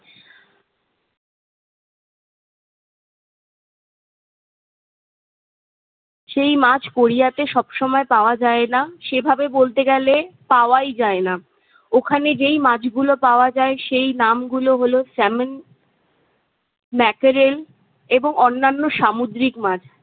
সেই মাছ কোরিয়াতে সব সময় পাওয়া যায় না। সেভাবে বলতে গেলে পাওয়াই যায়না। ওখানে যেই মাছগুলো পাওয়া যায়, সেই নামগুলো হলো- sammon, mackerel এবং অন্যান্য সামুদ্রিক মাছ।